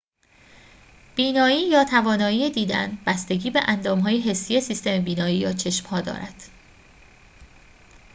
بینایی یا توانایی دیدن بستگی به اندام‌های حسی سیستم بینایی یا چشم‌ها دارد